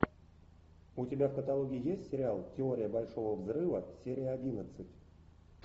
у тебя в каталоге есть сериал теория большого взрыва серия одиннадцать